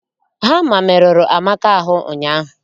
Hama merụrụ Amaka ahụ ụnyaahụ